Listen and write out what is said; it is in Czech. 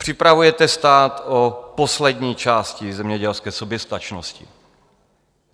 Připravujete stát o poslední části zemědělské soběstačnosti.